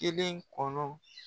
Kelen kɔnɔ